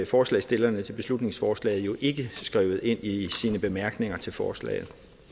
forslagsstillerne til beslutningsforslaget jo ikke skrevet ind i bemærkningerne til forslaget